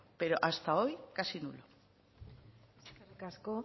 pero hasta hoy casi nulo eskerrik asko